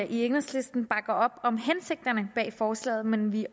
i enhedslisten bakker op om hensigterne bag forslaget men vi